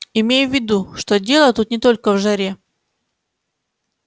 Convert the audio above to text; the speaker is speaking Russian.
имей в виду что дело тут не только в жаре